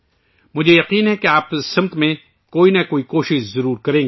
مجھے یقین ہے کہ آپ اس سمت میں کچھ نہ کچھ کوشش ضرور کریں گے